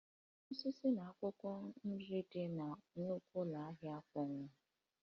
Mkpụrụ osisi na akwụkwọ nri dị na nnukwu ụlọ ahịa a akpọnwụwo